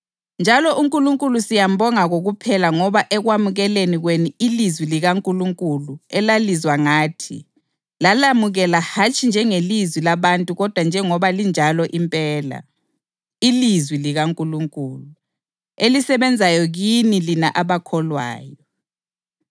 Njalo uNkulunkulu siyambonga kokuphela ngoba ekwamukeleni kwenu ilizwi likaNkulunkulu elalizwa ngathi, lalamukela hatshi njengelizwi labantu kodwa njengoba linjalo impela, ilizwi likaNkulunkulu, elisebenzayo kini lina abakholwayo.